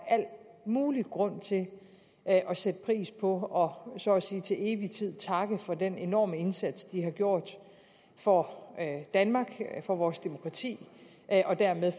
al mulig grund til at sætte pris på og så at sige til evig tid takke for den enorme indsats de har gjort for danmark og vores demokrati og dermed